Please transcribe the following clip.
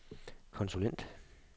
konsulent